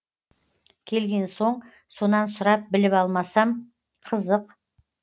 келген соң сонан сұрап біліп алмасам қызық